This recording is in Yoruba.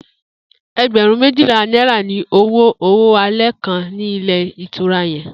E̩gbè̩rún méjìlá náírà ni owó owó alé̩ kan ní ilé ìtura ye̩n